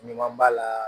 Ɲuman b'a la